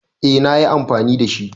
Yes, i used it.